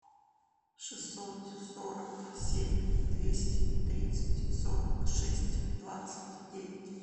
шестьсот сорок семь двести тридцать сорок шесть двадцать девять